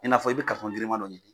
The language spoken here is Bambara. I n'a fɔ i bɛ karitɔn girima dɔ ɲini